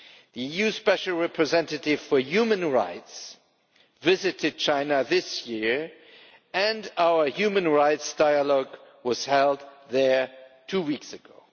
The EU Special Representative for Human Rights visited China this year and our human rights dialogue was held there two weeks ago.